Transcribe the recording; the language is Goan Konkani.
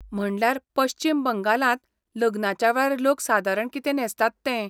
म्हणल्यार पश्चीम बंगालांत लग्नाच्या वेळार लोक सादारण कितें न्हेसतात तें.